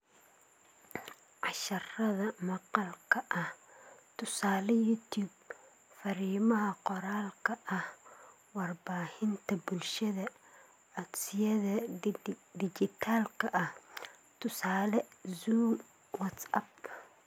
Casharrada maqalka ah (tusaale .YouTube), fariimaha qoraalka ah / warbaahinta bulshada / codsiyada dhijitaalka ah ( tusaale, Zoom, WhatsApp ).